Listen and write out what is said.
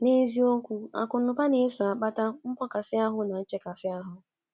N’eziokwu, akụnụba na - eso akpata mgbakasi ahu na nchekasị ahu.